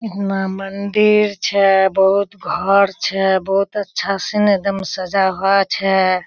उठेना मंदिर छे बोहोत घोर छे बोहोत अच्छा से एकदम सजा हुआ छे।